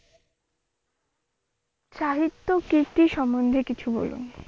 সাহিত্যকৃতি সমন্ধে কিছু বলুন?